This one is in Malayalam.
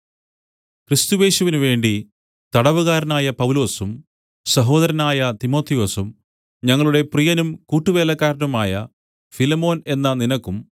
ക്രിസ്തുയേശുവിനുവേണ്ടി തടവുകാരനായ പൗലൊസും സഹോദരനായ തിമൊഥെയൊസും ഞങ്ങളുടെ പ്രിയനും കൂട്ടുവേലക്കാരനുമായ ഫിലേമോൻ എന്ന നിനക്കും